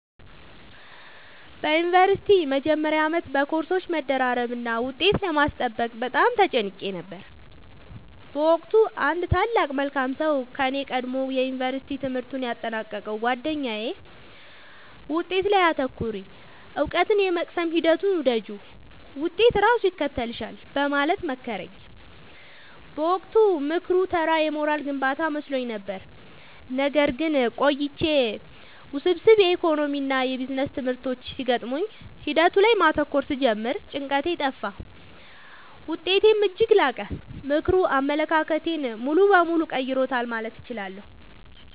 በዩኒቨርሲቲ መጀመሪያ ዓመት በኮርሶች መደራረብና ውጤት ለማስጠበቅ በጣም ተጨንቄ ነበር። በወቅቱ አንድ ታላቅ መልካም ሰው ከኔ ቀድሞ የዩንቨርስቲ ትምህርቱን ያጠናቀቀው ጉአደኛዬ «ውጤት ላይ ብቻ አታተኩሪ: እውቀትን የመቅሰም ሂደቱን ውደጂው፣ ውጤት ራሱ ይከተልሻል» በማለት መከረኝ። በወቅቱ ምክሩ ተራ የሞራል ግንባታ መስሎኝ ነበር። ነገር ግን ቆይቼ ውስብስብ የኢኮኖሚክስና ቢዝነስ ትምህርቶች ሲገጥሙኝ ሂደቱ ላይ ማተኮር ስጀምር ጭንቀቴ ጠፋ: ውጤቴም እጅግ ላቀ። ምክሩ አመለካከቴን ሙሉ በሙሉ ቀይሮታል ማለት እችላለሁ።